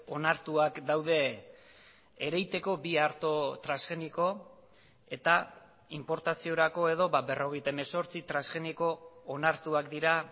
onartuak daude ereiteko bi arto transgeniko eta inportaziorako edo berrogeita hemezortzi transgeniko onartuak dira